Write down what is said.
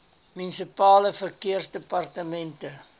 munisipale verkeersdepartemente